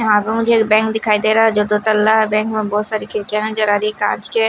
मुझे बैंक दिखाई दे रहा है जो दो तल्ला बैंक में बहुत सारी खिड़कियां नजर आ रही है कांच के।